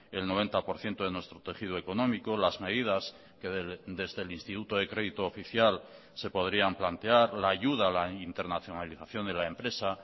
el noventa por ciento de nuestro tejido económico las medidas que desde el instituto de crédito oficial se podrían plantear la ayuda a la internacionalización de la empresa